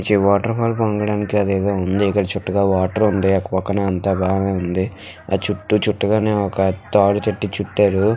ఈ water pipe వంగడానికి అదేదో ఉంది. ఇక్కడ చుట్టూ వాటర్ ఉంది. అటు పక్కగా అంతా బాగానే ఉంది. అది చుట్టు చుట్టగానే ఒక తాడు కట్టి చుట్టారు.